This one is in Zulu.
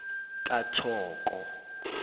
kathoko